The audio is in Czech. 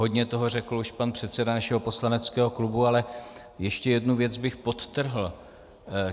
Hodně toho řekl už pan předseda našeho poslaneckého klubu, ale ještě jednu věc bych podtrhl.